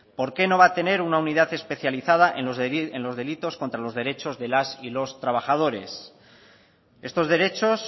por qué no va a tener una unidad especializada en los delitos contra los derechos de las y los trabajadores estos derechos